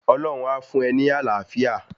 Ọlọ́hun a fún e ní Àlàáfíà